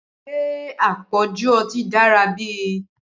Ṣé àpọ̀jù ọtí dára bí?